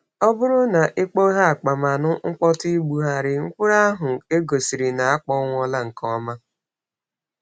Ọ bụrụ na i kpọghee akpa ma nụ mkpọtụ igbugharị, mkpụrụ ahụ egosiri na akpọnwụla nke ọma.